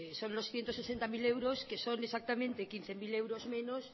son los ciento sesenta mil euros que son exactamente quince mil euros menos